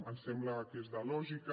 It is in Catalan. ens sembla que és de lògica